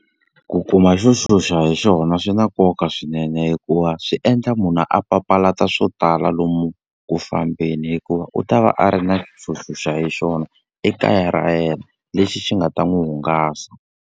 Ku kuma xo xuxa hi xona swi na nkoka swinene hikuva swi endla munhu a papalata swo tala lomu ku fambeni. Hikuva u ta va a ri na xo xuxa hi xona ekaya ra yena, lexi xi nga ta n'wi hungasa.